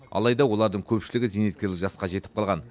алайда олардың көпшілігі зейнеткерлік жасқа жетіп қалған